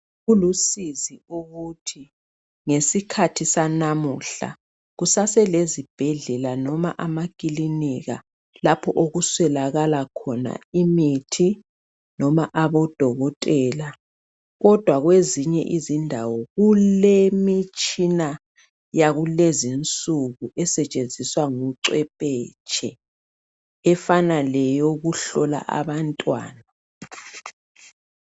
Kulusizi ukuthi ngesikhathi sanamuhla kusaselezibhedlela noma amakilinika lapho okuswelakala khona imithi noma abodokotela kodwa kwezinye indawo kulemitshina yakulezinsuku esetshenziswa ngucwephetshe efana leyokuhlola abantwana